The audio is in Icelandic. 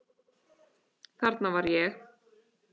Þarna var ég.